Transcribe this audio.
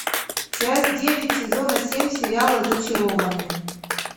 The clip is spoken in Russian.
часть девять сезона семь сериала зачарованные